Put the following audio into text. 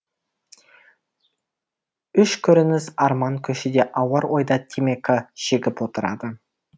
үш көрініс арман көшеде ауыр ойда темекі шегіп отырады